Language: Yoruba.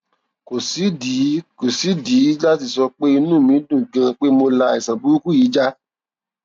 kò sídìí kò sídìí láti sọ pé inú mi dùn ganan pé mo la àìsàn burúkú yìí já